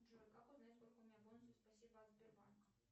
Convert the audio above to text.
джой как узнать сколько у меня бонусов спасибо от сбербанка